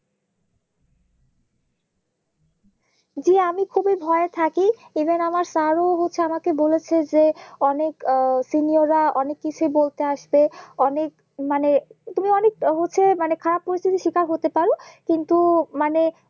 জি আমি খুবই ভয়ে থাকি এবং আমার স্যার ও হচ্ছে আমাকে বলেছেন যে অনেক আহ Senior রা অনেক কিছু বলতে আসবে অনেক মানে তুমি অনেক মানে খারাপ পরিস্থিতির শিকার হতে পারো কিন্তু মানে